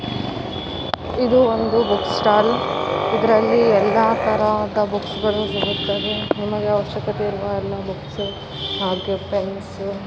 ಇದು ಒಂದು book stall ಇದ್ರಲ್ಲಿ ಎಲ್ಲಾ ತರಾದ ಬಸ್ಸ್ ಗಳು ಸಿಗುತ್ತವೆ ನಮಗೆ ಅವಶ್ಯಕತೆ ಇರುವ ಎಲ್ಲ ಹಾಗೆ ಪೆನ್ಸ್ --